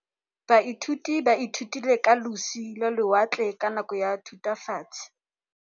Baithuti ba ithutile ka losi lwa lewatle ka nako ya Thutafatshe.